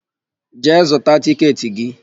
Jee zụta tịketị gị!